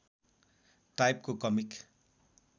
टाइपको कमिक